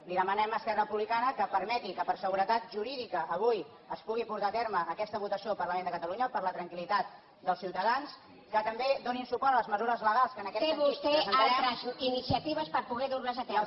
li demanem a esquerra republicana que permeti que per seguretat jurídica avui es pugui portar a terme aquesta votació al parlament de catalunya per a la tranquillitat dels ciutadans que també donin suport a les mesures legals que en aquest sentit presentarem